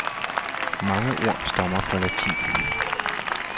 Mange ord stammer fra latin.